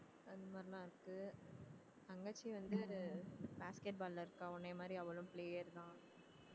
அந்த மாதிரிலாம் இருக்கு தங்கச்சி வந்து basket ball ல இருக்கா உன்னைய மாதிரி அவளும் player தான்